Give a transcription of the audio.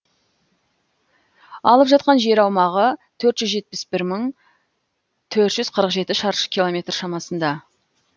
алып жатқан жер аумағы төрт жүз жетпіс бір мың төрт жүз қырық жеті шаршы километр шамасында